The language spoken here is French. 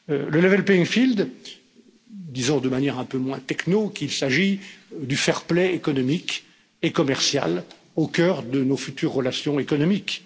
Le level playing field disons de manière un peu moins techno qu'il s'agit du fair play économique et commercial, au cœur de nos futures relations économiques.